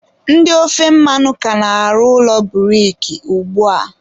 ndị ofe mmanụ ka na-arụ ụlọ buriki ugbua.